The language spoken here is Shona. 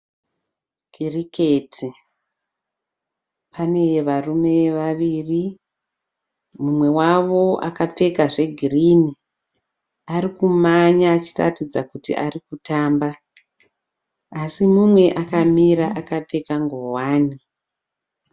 Kiriketi, pane varume vaviri , mumwe wavo akapfeka zve green. Arikumhanya achiratidza kuti ari kutamba así mumwe akamira akapfeka nguwani.